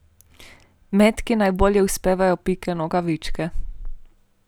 Metki najbolje uspevajo Pike Nogavičke.